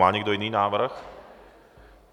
Má někdo jiný návrh?